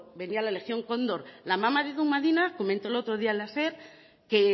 venía la legión condor la amama de edu madina comentó el otro día en la ser que